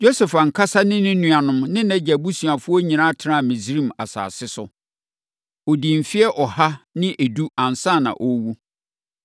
Yosef ankasa ne ne nuanom ne nʼagya abusuafoɔ nyinaa tenaa Misraim asase so. Ɔdii mfeɛ ɔha ne edu ansa na ɔrewu.